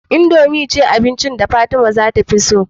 Indomie ce abinci da fatima tafi so